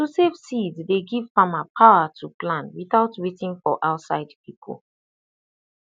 to save seed dey give farmer power to plan without waiting for outside people